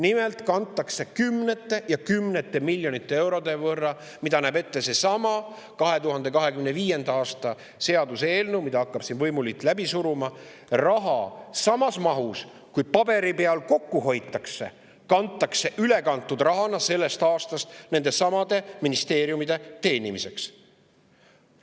Nimelt kantakse sellest aastast kümned ja kümned miljonid eurod üle, mida näeb ette seesama 2025. aasta eelnõu, mida hakkab siin võimuliit läbi suruma, samas mahus, kui paberi peal kokku hoitakse, nendesamade ministeeriumide teenimiseks.